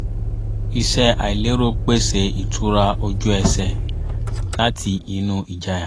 iṣẹ́ àìlérò pèsè ìtura ojú ẹsẹ̀ láti inú ìjayà